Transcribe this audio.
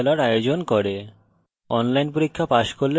কথ্য tutorials ব্যবহার করে কর্মশালার আয়োজন করে